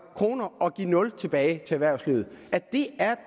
kroner og give nul kroner tilbage til erhvervslivet